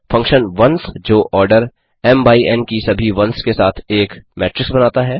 function ones जो order M M by N N की सभी वन्स के साथ एक मेट्रिक्स बनाता है